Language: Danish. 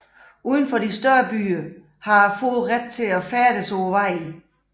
Uden for de større byer har fårene ret til at færdes på vejene